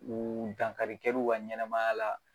U dankari kɛliw ka ɲɛnamaya la.